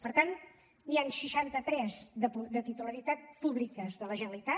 per tant n’hi han seixanta tres de titularitat pública de la generalitat